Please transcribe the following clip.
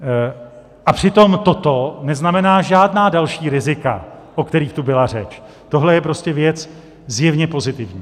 A přitom toto neznamená žádná další rizika, o kterých tu byla řeč, tohle je prostě věc zjevně pozitivní.